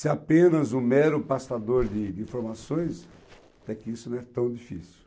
Ser apenas um mero pastador de de informações, até que isso não é tão difícil.